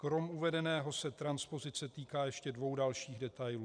Kromě uvedeného se transpozice týká ještě dvou dalších detailů.